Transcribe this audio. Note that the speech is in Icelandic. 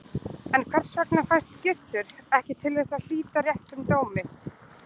En hvers vegna fæst Gizur ekki til þess að hlíta réttum dómi?